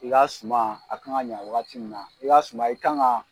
I ka suma a kan ka ɲɛ wagati min na i ka suma kan k'a